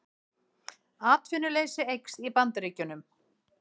Atvinnuleysi eykst í Bandaríkjunum